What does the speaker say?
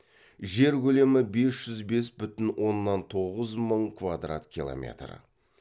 жер көлемі бес жүз бес бүтін оннан тоғыз мың квадрат километр